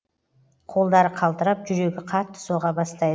қолдары қалтырап жүрегі қатты соға бастай